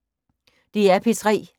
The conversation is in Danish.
DR P3